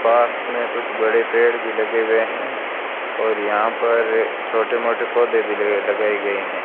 पास मे कुछ बड़े पेड़ भी लगे हुए है और यहां पर छोटे मोटे पौधे भी लगाये गये है।